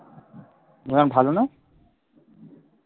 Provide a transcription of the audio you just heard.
কেন ভালো না?